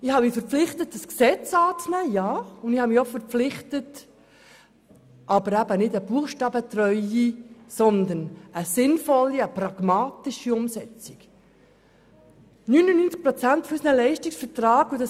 Ich habe mich verpflichtet, das Gesetz anzunehmen, und ich habe mich auch verpflichtet, sinnvolle und pragmatische Umsetzungen zu unterstützen, aber eben keine buchstabentreuen.